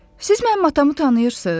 Siz mənim atamı tanıyırsınız?